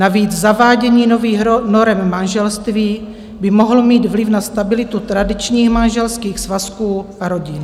Navíc zavádění nových norem manželství by mohlo mít vliv na stabilitu tradičních manželských svazků a rodin.